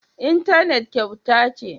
Intanet kyauta ce?